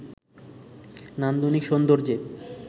নান্দনিক সৌন্দর্যে